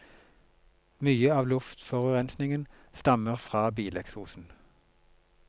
Mye av luftforurensningen stammer fra bileksosen.